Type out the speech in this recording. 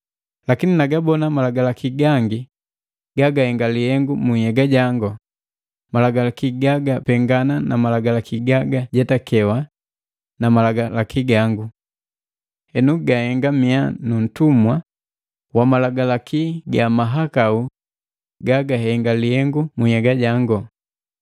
Lakini nagabona malagalaki gangi gagahenga lihengu mu nhyega jango, malagalaki gagapengana na Malagalaki gagajetakewa na malangu gangu. Henu ganhenga mia nuntumwa wa malagalaki ga mahakau gagahenga lihengu mu nhyega jango.